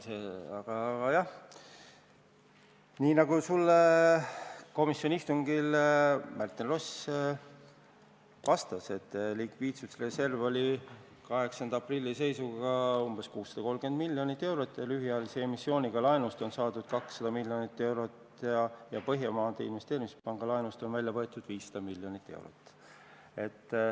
Aga jah, nii nagu Märten Ross sulle komisjoni istungil vastas, oli likviidsusreserv 8. aprilli seisuga umbes 630 miljonit eurot, lühiajalise emissiooniga laenust on saadud 200 miljonit eurot ja Põhjamaade Investeerimispanga laenust on välja võetud 500 miljonit eurot.